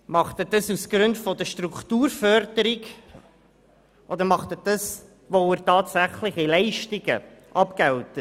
Tut er dies aus Gründen der Strukturförderung oder weil er tatsächliche Leistungen abgilt?